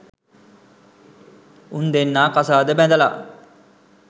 උන් දෙන්නා කසාද බැඳලා